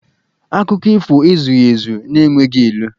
Akụkọ ifo ezughị ezu n'enweghị ilu